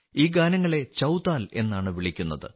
ഈ ഗാനങ്ങളെ ചൌതാൽ എന്നാണ് വിളിക്കുന്നത്